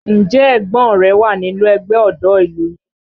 Ǹjẹ́ ẹ̀gbọ́n rẹ wà nínú ẹgbẹ́ ọ̀dọ́ ìlú yín?